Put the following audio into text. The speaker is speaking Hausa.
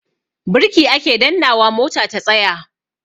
Birki ake dannnawa mota ta tsaya.